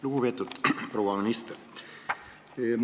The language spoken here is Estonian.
Lugupeetud proua minister!